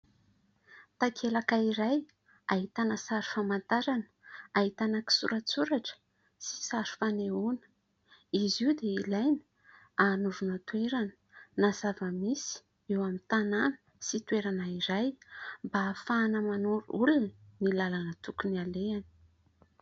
Takelaka iray ahitana sary famantarana, ahitana kisoratsoratra sy sary fanehoana. Izy io dia ilaina anoroana toerana, na zava-misy eo amin'ny tanàna sy toerana iray, mba ahafahana manoro olona ny lalana tokony alehany.